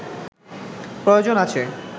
প্রয়োজন আছে